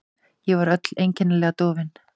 Ég var öll einkennilega dofin.